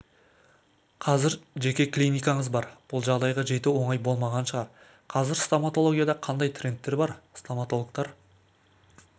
қазір жеке клиникаңыз бар бұл жағдайға жету оңай болмаған шығар қазір стоматологияда қандай трендтер бар стоматологтар